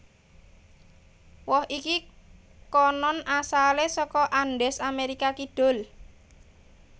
Woh iki konon asalé saka Andes Amérika Kidul